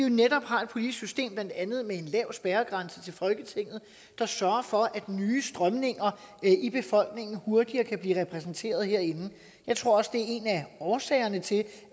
har et politisk system med blandt andet en lav spærregrænse til folketinget der sørger for at nye strømninger i befolkningen hurtigere kan blive repræsenteret herinde jeg tror også det er en af årsagerne til